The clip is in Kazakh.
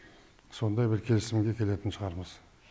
сондай бір келісімге келетін шығармыз